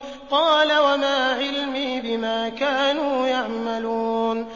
قَالَ وَمَا عِلْمِي بِمَا كَانُوا يَعْمَلُونَ